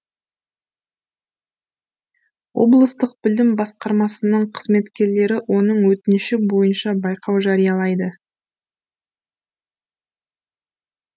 облыстық білім басқармасының қызметкерлері оның өтініші бойынша байқау жариялайды